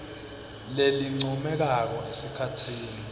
lelincomekako esikhatsini